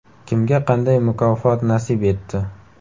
Kimga qanday mukofot nasib etdi?.